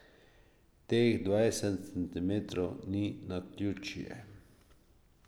Teh dvajset centimetrov ni naključje.